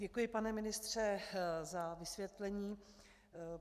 Děkuji, pane ministře, za vysvětlení.